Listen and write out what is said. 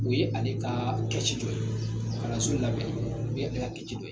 U ye ale ka kɛci dɔ ye kalanso labɛnni u ale ka kɛci dɔ ye